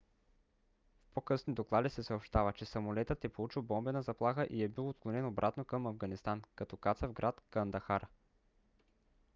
в по-късни доклади се съобщава че самолетът е получил бомбена заплаха и е бил отклонен обратно към афганистан като каца в град кандахар